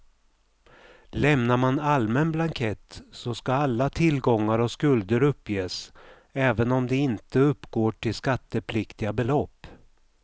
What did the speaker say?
Lämnar man allmän blankett så ska alla tillgångar och skulder uppges även om de inte uppgår till skattepliktiga belopp.